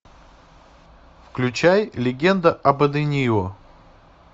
включай легенда об аденио